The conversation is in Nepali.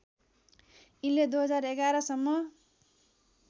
यिनले २०११ सम्म